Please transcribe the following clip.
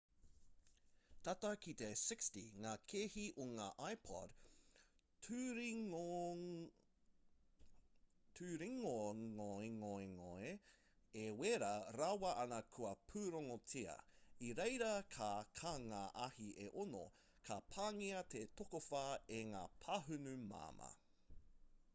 tata ki te 60 ngā kēhi o ngā ipod turingongengonge e wera rawa ana kua pūrongotia i reira ka kā ngā ahi e ono ka pāngia te tokowhā e ngā pāhunu māmā